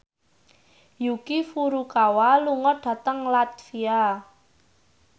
Yuki Furukawa lunga dhateng latvia